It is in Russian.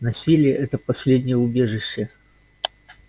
насилие это последнее убежище